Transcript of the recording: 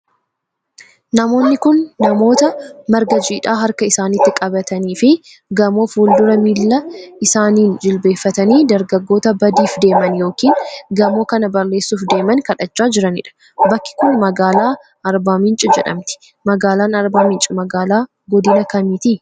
Namooni kun, namoota marga jiidhaa harka isaanitti qabatanii fi gamoo fuuldura miila isaaniin jilbeeffatanii dargaggoota badiif deeman yokin gamoo kana balleessuuf deeman kadhachaa jiraniidha. Bakki kun ,magaalaa Arbaa Minch jedhamti. Magaalaan Arbaa Minch magaalaa godina kamiiti?